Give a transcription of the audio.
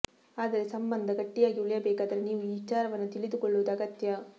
ಆದರೆ ಸಂಬಂದ ಗಟ್ಟಿಯಾಗಿ ಉಳಿಯಬೇಕಾದರೆ ನೀವು ಈ ವಿಚಾರವನ್ನು ತಿಳಿದುಕೊಳ್ಳುವುದು ಅಗತ್ಯ